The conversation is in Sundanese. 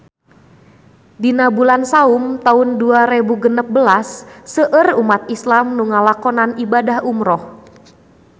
Dina bulan Saum taun dua rebu genep belas seueur umat islam nu ngalakonan ibadah umrah